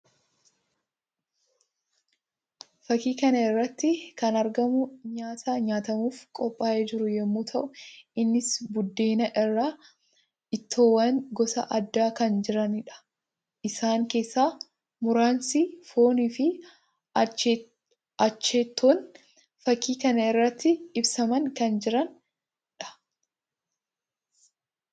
Fakkii kana irratti kan argamu nyaata nyaatamuuf qophaa'ee jiru yammuu ta'u; innis buddeen irra ittoowwan gosa addaa kan jiranii dha. Isaan keessaa muraasni foon fi ancooteen fakkii kan irratti ibsamanii kan jiranii dha.